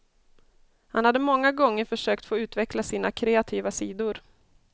Han hade många gånger försökt få utveckla sina kreativa sidor.